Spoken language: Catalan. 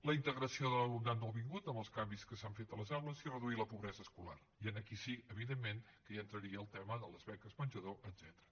la integració de l’alumnat nouvingut amb els canvis que s’han fet a les aules i reduït la pobresa escolar i aquí sí evidentment que hi entraria el tema de les beques menjador etcètera